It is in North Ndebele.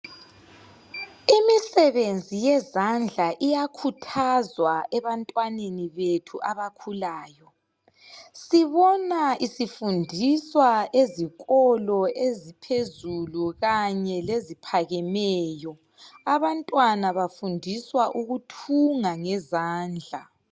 Imisebenzi yezandla iyakhuthazwa ebantwaneni bethu abakhulayo sibona isifundiswa ezikolo eziphezulu kanye leziphakemeyo abantwana bafundiswa ukuthunga ngezandla.